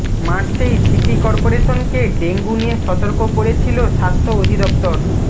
মার্চেই city করপোরেশনকে ডেঙ্গু নিয়ে সতর্ক করেছিল স্বাস্থ্য অধিদফতর